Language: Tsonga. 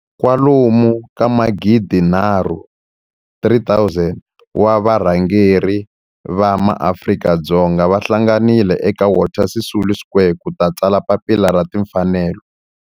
kwalomu ka magidinharhu, 3 000, wa varhangeri va maAfrika-Dzonga va hlanganile eka Walter Sisulu Square ku ta tsala Papila ra Timfanelo.